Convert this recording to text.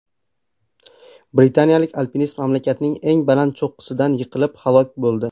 Britaniyalik alpinist mamlakatning eng baland cho‘qqisidan yiqilib halok bo‘ldi.